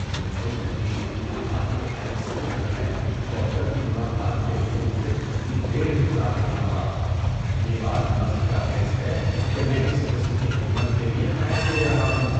مجھے یقین نہیں آتا کہ ہیلتھ سینٹر میں ڈاکٹر کی ملاقات کے لیے مجھے کتنی دیر انتظار کرنا پڑا! یہ بات مضحکہ خیز ہے کہ میں اس قسم کی خدمت کے لیے پیسے دے رہا ہوں۔